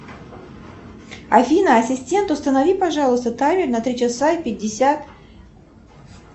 афина ассистент установи пожалуйста таймер на три часа и пятьдесят